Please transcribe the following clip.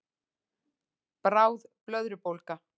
Bráð blöðrubólga